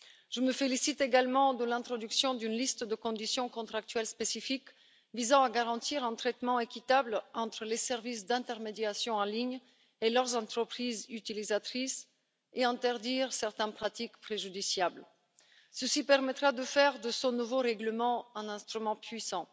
Je me félicite également de l'introduction d'une liste de conditions contractuelles spécifiques visant à garantir un traitement équitable entre les services d'intermédiation en ligne et leurs entreprises utilisatrices, et à interdire certaines pratiques préjudiciables. Cela permettra de faire de ce nouveau règlement un instrument puissant.